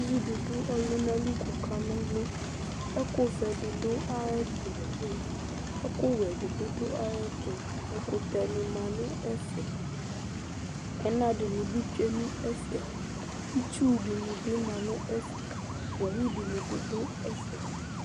Uvi dɩ dʋ ɔlʋna li kʋ ɔkana ɔlʋ Ɛkʋvɛ dɩ dʋ ayɛtʋ, ɛkʋwɛ dɩ bɩ dʋ ayɛtʋ Ɛkʋyɛnɩ ma nʋ ɛfɛ Ɛna dɩnɩ bɩ tsue nʋ ɛfɛ Itsu dɩnɩ bɩ ma nʋ ɛfɛ Owu dɩnɩ bɩ dʋ ɛfɛ